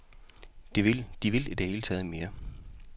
De ville i det hele taget mere.